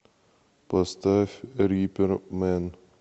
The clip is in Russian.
поставь рипер мэн